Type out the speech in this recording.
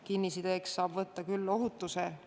Kinnisideeks võib aga võtta ohutuse.